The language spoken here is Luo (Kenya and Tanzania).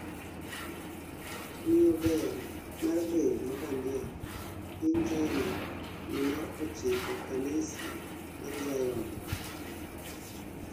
ng'iyo ber mar del mabandia piny china due mar ochiko kanisa mar Zion